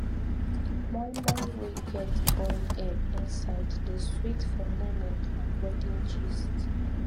moi moi wey get boiled egg inside dey sweet for naming and wedding gist